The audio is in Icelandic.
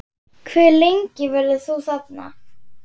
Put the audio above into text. Hve lengi verður þú þarna?